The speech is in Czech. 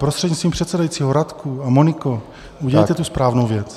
Prostřednictvím předsedajícího, Radku a Moniko, udělejte tu správnou věc.